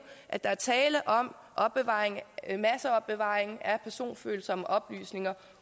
at der er tale om en masseopbevaring af personfølsomme oplysninger